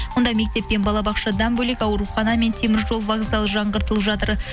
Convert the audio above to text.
онда мектеп пен балабақшадан бөлек аурухана мен теміржол вокзалы жаңғыртылып жатыр